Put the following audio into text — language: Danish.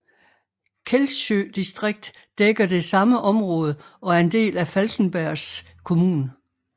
Kællsjø distrikt dækker det samme område og er en del af Falkenbergs kommun